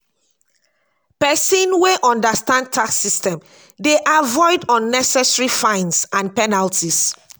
pesin wey understand tax system dey avoid unnecessary fines and penalties.